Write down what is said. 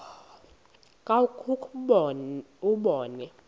krwaqu kwakhe ubone